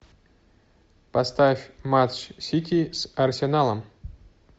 поставь матч сити с арсеналом